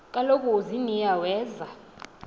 kaloku uziniya weza